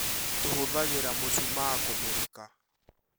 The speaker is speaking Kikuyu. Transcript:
Tũhũthagĩra mushumaa kũmũrika